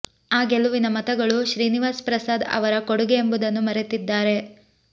ಆ ಗೆಲುವಿನ ಮತಗಳು ಶ್ರೀನಿವಾಸ್ ಪ್ರಸಾದ್ ಅವರ ಕೊಡುಗೆ ಎಂಬುದನ್ನು ಮರೆತಿದ್ದಾರೆ